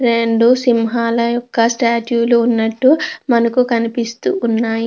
రేండు సింహాల యొక్క స్టాచ్యూ లు ఉన్నటు మనకు కనిపిస్తూ వున్నాయి.